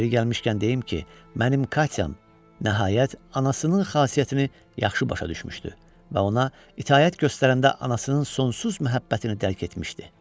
Yeri gəlmişkən deyim ki, mənim Katyam nəhayət anasının xasiyyətini yaxşı başa düşmüşdü və ona itaət göstərəndə anasının sonsuz məhəbbətini dərk etmişdi.